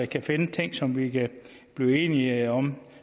kan finde ting som vi kan blive enige om